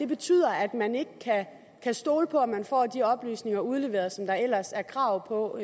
betyder at man ikke kan stole på om man får de oplysninger udleveret som der ellers er krav på